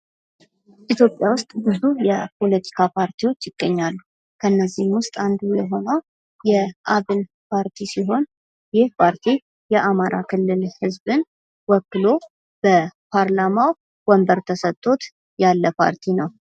ኢትዮጵያ ውስጥ ብዙ የፖለቲካ ፓርቲዎች ይገኛሉ። ከነዚህም ውስጥ አንዱ የሆነው የአብን ፓርቲ ሲሆን ይህ ፓርቲ የአማራ ክልል ህዝብን ወክሎ በፓርላማ ወንበር ተሰጥቶት ያለ ፓርቲ ነው።